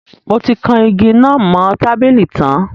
Mo ti kan igi náà mo tábìlì tan